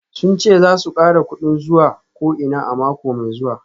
Sun ce za su kara kudin zuwa ko'ina a mako mai zuwa